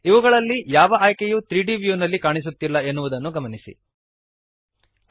ಇವುಗಳಲ್ಲಿ ಯಾವ ಆಯ್ಕೆಯೂ 3ದ್ ವ್ಯೂನಲ್ಲಿ ಕಾಣಿಸುತ್ತಿಲ್ಲ ಎನ್ನುವುದನ್ನು ಗಮನಿಸಿರಿ